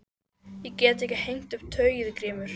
Ég get ekki hengt upp tauið Grímur.